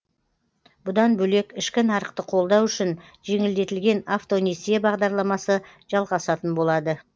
бұдан бөлек ішкі нарықты қолдау үшін жеңілдетілген автонесие бағдарламасы жалғасатын болады